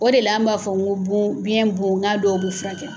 O de la' an b'a fɔ ko bon biɲɛ bon nka dɔw bɛ furakɛ.